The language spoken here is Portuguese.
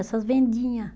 Essas vendinha